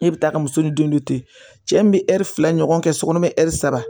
E bɛ taa ka muso ni den dɔ to yen cɛ min bɛ ɛri fila ɲɔgɔn kɛ sokɔni bɛ ɛri saba